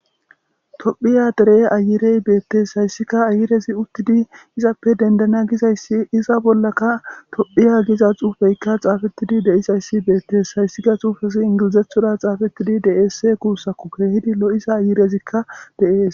tophiya dere ayirey beettes hayssika ayirezi uttidi izappe dendana gizayssi iza bollaka tophiya giza xuufeykka xaafettidi de7isayssi beettes hayssika xuufesi ingilizethoda xaafettidi deesse kuussakku keehidi lo7isa ayirezikka de7ees